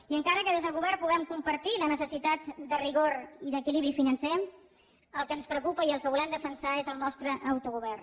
i encara que des del govern puguem compartir la necessitat de rigor i d’equilibri financer el que ens preocupa i el que volem defensar és el nostre autogovern